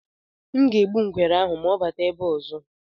M ga-egbu ngwere ahụ ma ọ batakwa ebe a ọzọ.